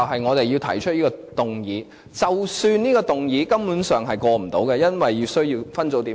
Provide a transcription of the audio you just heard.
我們要提出這項議案，即使知道這項議案很可能無法通過，因為需要分組點票。